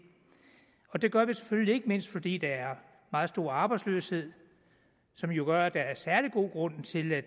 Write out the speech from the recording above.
og det gør vi selvfølgelig ikke mindst fordi der er meget stor arbejdsløshed som jo gør at der er særlig god grund til at